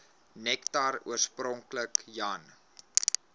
nektar oorspronklik jan